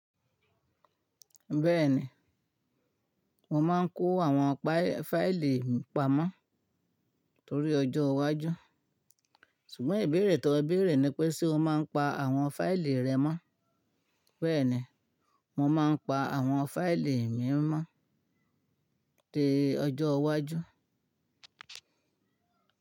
Bẹ́ẹ̀ni, mo máa ń kó àwọn fáìlì mi pamọ́ torí ọjọ́ iwájú. Sùgbọ́n ìbéèrè tọ bẹ́èrè ni pé ṣé o máa ń pa àwọn fáìlì rẹ mọ́? Bẹ́ẹ̀ni, mo máa ń pa àwọn fáìlì mi mọ́ dé ọjọ́ iwájú.